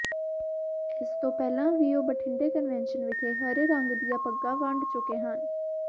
ਇਸ ਤੋਂ ਪਹਿਲਾਂ ਵੀ ਉਹ ਬਠਿੰਡਾ ਕਨਵੈਨਸ਼ਨ ਵਿਖੇ ਹਰੇ ਰੱਗ ਦੀਆਂ ਪੱਗਾਂ ਵੰਡ ਚੁੱਕੇ ਹਨ